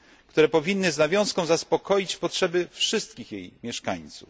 Zasoby te powinny z nawiązką zaspokoić potrzeby wszystkich jej mieszkańców.